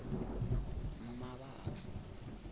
mmabatho